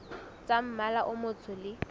tsa mmala o motsho le